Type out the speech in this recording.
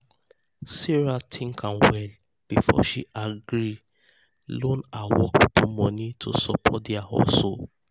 sarah think am well before she gree loan her work people money to support their hustle.